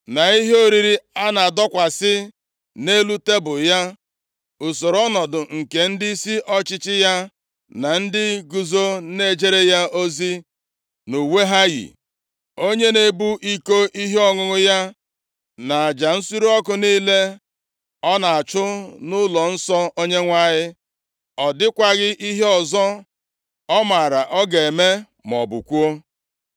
na ihe oriri a na-adọkwasị nʼelu tebul ya, usoro ọnọdụ nke ndịisi ọchịchị ya, na ndị guzo na-ejere ya ozi nʼuwe ha yi, onye na-ebu iko ihe ọṅụṅụ ya, na aja nsure ọkụ niile ọ na-achụ nʼụlọnsọ Onyenwe anyị, ọ dịkwaghị ihe ọzọ ọ maara ọ ga-eme, maọbụ kwuo.